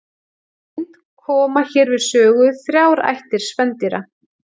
Í reynd koma hér við sögu þrjár ættir spendýra.